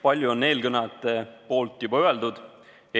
Palju on eelkõnelejate poolt juba öeldud.